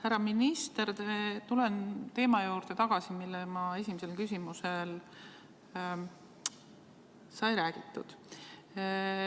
Härra minister, tulen tagasi teema juurde, millest esimese küsimuse juures sai räägitud.